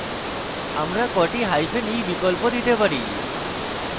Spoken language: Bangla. আমরা কটি hyphen e বিকল্প দিতে পারি